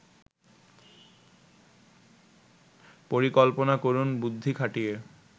পরিকল্পনা করুন বুদ্ধি খাটিয়ে